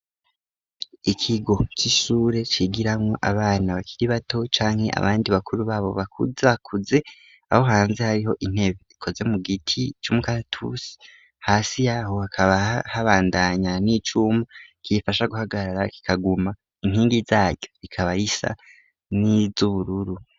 Ikigo c'ishure cigiranwo abana bakiri bato, canke abandi bakuru babo bakuzakuze, aho hanze hariho intebe ikoze mu giti c'umukatusi, hasi yaho hakaba habandanya n'icuma, gifasha guhagarara kikaguma, inkingi zaco bikaba zisa niz'ubururu.